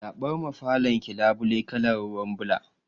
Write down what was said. Zaɓar ma falon ki labule kalar ruwan ɓula